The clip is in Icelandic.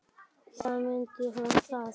Þá mundi hún það.